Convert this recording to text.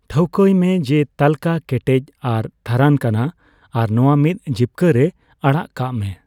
ᱴᱷᱟᱹᱣᱠᱟᱹᱭ ᱢᱮ, ᱡᱮ ᱛᱟᱹᱞᱠᱟᱹ ᱠᱮᱴᱮᱡ ᱟᱨ ᱛᱷᱟᱨᱟᱱ ᱠᱟᱱᱟ, ᱟᱨ ᱱᱚᱣᱟ ᱢᱤᱫ ᱡᱤᱯᱠᱟᱹ ᱨᱮ ᱟᱽᱟᱜ ᱠᱟᱜ ᱢᱮ ᱾